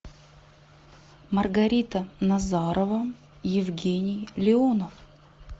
маргарита назарова евгений леонов